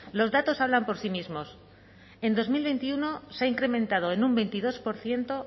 los datos hablan por sí mismos en dos mil veintiuno se ha incrementado en un veintidós por ciento